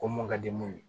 Ko mun ka di mun ye